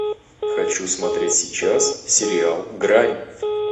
хочу смотреть сейчас сериал грань